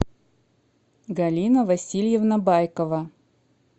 галина васильевна байкова